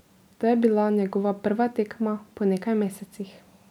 To je bila njegova prva tekma po nekaj mesecih.